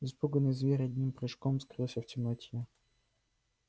испуганный зверь одним прыжком скрылся в темноте